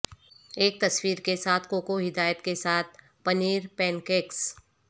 ایک تصویر کے ساتھ کوکو ہدایت کے ساتھ پنیر پینکیکس